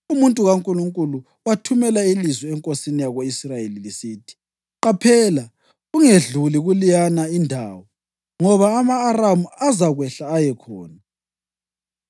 Umuntu kaNkulunkulu wathumela ilizwi enkosini yako-Israyeli lisithi, “Qaphela ungedluli kuleyana indawo, ngoba ama-Aramu azakwehla ayekhona.”